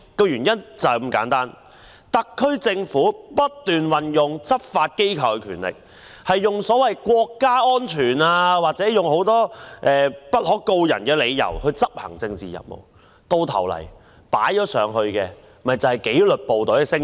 原因是特區政府不斷運用執法機構的權力，以國家安全或很多不可告人的理由執行政治任務，最終犧牲紀律部隊的聲譽。